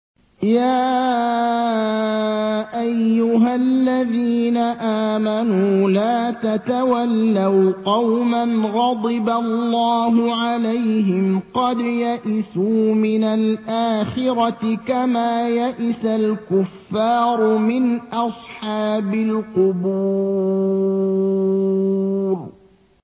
يَا أَيُّهَا الَّذِينَ آمَنُوا لَا تَتَوَلَّوْا قَوْمًا غَضِبَ اللَّهُ عَلَيْهِمْ قَدْ يَئِسُوا مِنَ الْآخِرَةِ كَمَا يَئِسَ الْكُفَّارُ مِنْ أَصْحَابِ الْقُبُورِ